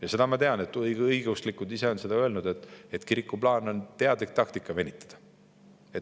Ja seda ma tean, et õigeõiguslikud ise on öelnud, et kiriku plaan on teadlik taktika: venitada.